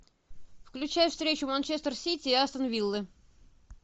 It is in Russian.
включай встречу манчестер сити и астон виллы